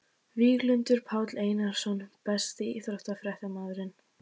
Víglundur Páll Einarsson Besti íþróttafréttamaðurinn?